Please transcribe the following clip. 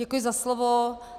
Děkuji za slovo.